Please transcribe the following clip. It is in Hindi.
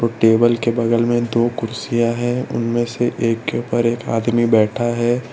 टेबल के बगल में दो कुर्सिया हैं उनमें से एक के ऊपर एक आदमी बैठा है।